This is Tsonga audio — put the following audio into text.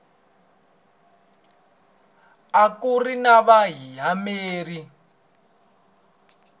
a ku ri na vayimeri